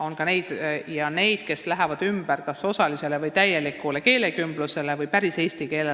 On ka neid, kes lähevad üle kas osalisele või täielikule keelekümblusele või päris eesti keelele.